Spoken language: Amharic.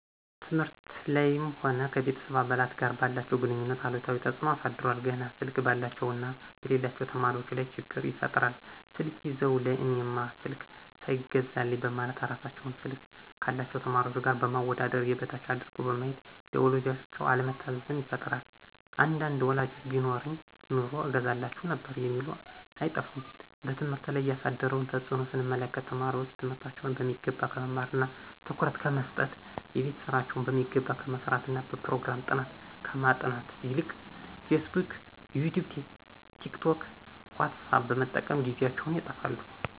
ትምህርት ላይም ሆነ ከቤተሰብ አባላት ጋር ባላቸው ግንኙነት አሉታዊ ተጽኖ አሳድሯል። ገና ስልክ ባላቸው እና በሌላቸው ተማሪዎች ላይ ችግር ይፈጥራል ስልክ ይዘው ለእኔማ ስልክ ሳይገዛልኝ በማለት እራሳቸውን ስልክ ካላቸው ተማሪዎች ጋር በማወዳደር የበታች አድርገው በማየት ለወላጆቻቸው አለመታዘዝን ይፈጥራል አንዳንድ ወላጆችም ቢኖረኝ ኑሮ እገዛላችሁ ነበር የሚሉ አይጠፉም። በትምህርት ላይ ያሳደረውን ተጽኖ ስንመለከት ተማሪዎች ትምህርታቸውን በሚገባ ከመማርና ትኩረት ከመሰጠት :የቤት ስራቸውን በሚገባ ከመስራትና በፕሮግራም ጥናት ከማጥናት ይልቅ ፌስቡክ :ይቲዩብ :ቲክቶክ: ዎትሳፕ በመጠቀም ጊዜያቸውን ያጠፋሉ